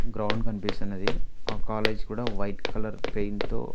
ground కనిపిస్తున్నది ఆ college కూడా వైట్ కలర్ పెయింట్ తో --